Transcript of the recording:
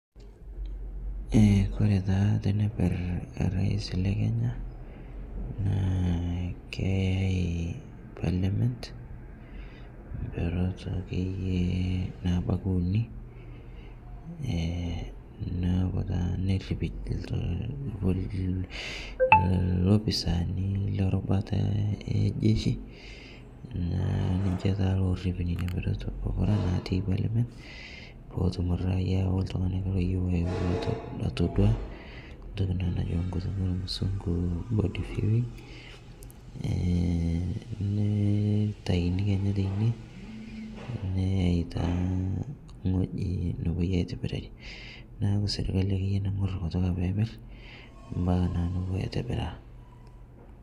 E kore taa teneper rais le Kenya naa keyai parliament mperot akeye nabaki unii enaaku taa neripito lopisani lerubata ejeshi naaku taa ninshe lorip nenia perot pukuraa natii parliament pootum raia oltung'ani loyeu netum atodua ntoki naa najoo nkutuk elmusung'u body viewing neitaini kenyaa teinie neyai taa ng'oji nopuoi aitibirarie naaku sirkali akeye naing'ur kutukaa peeper mpaka naake nopuoi aitibiraa.